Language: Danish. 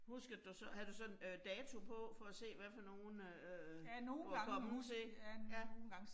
Huskede du så, havde du så en øh dato på for at se, hvad for nogle øh du var kommet til? Ja